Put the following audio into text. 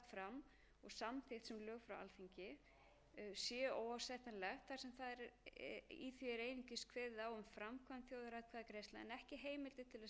um þjóðaratkvæðagreiðslur sem vinnuhópurinn skilaði forsætisráðherra og var lagt fram og samþykkt sem lög frá